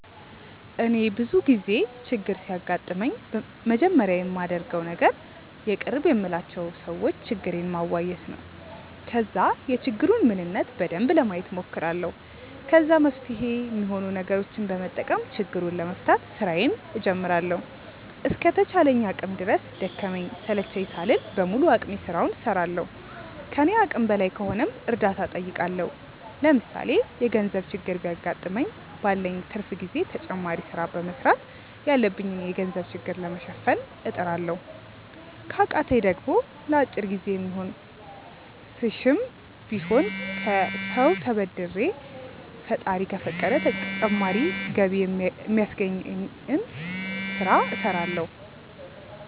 እኔ ብዙ ጊዜ ችግር ሲያጋጥመኝ መጀመሪያ ማደርገው ነገር የቅርብ የምላቸው ሰዎች ችግሬን ማዋየት ነው። ከዛ የችግሩን ምንነት በደንብ ለማየት ሞክራለሁ። ከዛ መፍትሄ ሚሆኑ ነገሮችን በመጠቀም ችግሩን ለመፍታት ስራዬን ጀምራለሁ። እስከ ተቻለኝ አቅም ድረስ ደከመኝ ሰለቸኝ ሳልል በሙሉ አቅሜ ስራውን እስራለሁ። ከኔ አቅም በላይ ከሆነም እርዳታ ጠይቃለሁ። ለምሳሌ የገርዘብ ችግር ቢያገጥመኝ ባለኝ ትርፍ ጊዜ ተጨማሪ ስራ በመስራት ያለብኝን የገንዘብ ችግር ለመሸፈን እጥራለሁ። ከቃተኝ ደሞ ለአጭር ጊዜ የሚሆን ስሽም ቢሆን ከሰው ተበድሬ ፈጣሪ ከፈቀደ ተጨማሪ ገቢ ሚያስገኘኝን ስለ እስራለሁ።